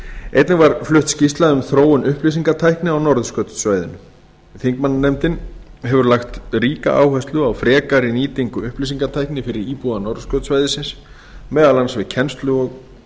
einnig var flutt skýrsla um þróun upplýsingatækni á norðurskautssvæðinu þingmannanefndin hefur lagt ríka áherslu á frekari nýtingu upplýsingatækni fyrir íbúa norðurskautssvæðisins meðal annars við kennslu og